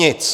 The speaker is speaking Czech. Nic.